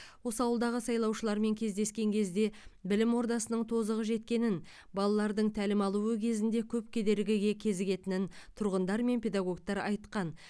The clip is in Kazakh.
осы ауылдағы сайлаушылармен кездескен кезде білім ордасының тозығы жеткенін балалардың тәлім алуы кезінде көп кедергіге кезігетінін тұрғындар мен педагогтар айтқан